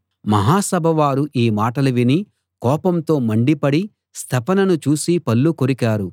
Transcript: మహాసభ వారు ఈ మాటలు విని కోపంతో మండిపడి స్తెఫనును చూసి పళ్ళు కొరికారు